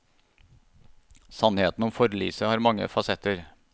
Sannheten om forliset har mange fasetter.